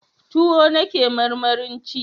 Tuwo nake marmarin ci